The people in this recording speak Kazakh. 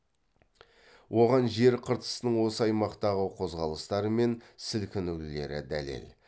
оған жер қыртысының осы аймақтағы қозғалыстары мен сілкінулері дәлел